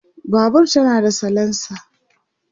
Babur tana da salensa